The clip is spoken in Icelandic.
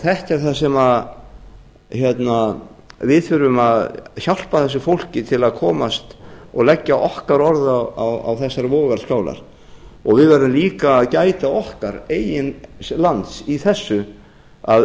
þetta er það sem við þurfum að hjálpa þessu fólki til að komast og leggja okkar orð á þessar vogarskálar við verðum líka að gæta okkar eigin lands í þessu að